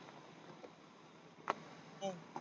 हम्म